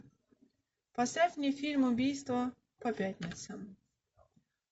поставь мне фильм убийства по пятницам